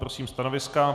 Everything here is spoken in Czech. Prosím stanoviska.